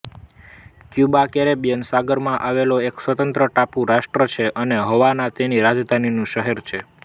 Cuba Caribbean સાગરમાં આવેલો એક સ્વતંત્ર ટાપુ રાષ્ટ્ર છે અને હવાના તેની રાજધાનીનું શહેર છે